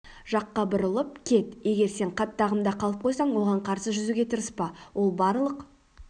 жаққа бұрылып кет егер сен қатты ағымда қалып қойсаң оған қарсы жүзуге тырыспа ол барлық